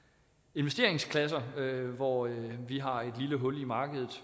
investeringsklasser hvor vi har et lille hul i markedet